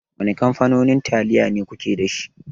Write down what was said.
Wane kamfanonin taliyo kuke dashi.